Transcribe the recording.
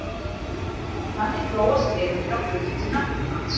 Þannig þróast tegundir á grundvelli náttúruvals.